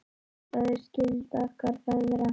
Því það er skylda okkar feðra.